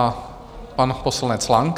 A pan poslanec Lang.